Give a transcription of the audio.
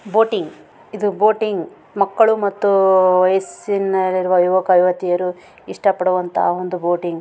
Boating ಇದು boating ಮಕ್ಕಳ್ಳು ಮತ್ತು ಆಹ್ಹ್ ವಯಸ್ಸಿನಲ್ಲಿರುವ ಯುವಕ ಯುವತಿಯರು ಇಷ್ಟ ಪಡುವಂತಹ ಒಂದು ಬೋಟಿಂಗ್ .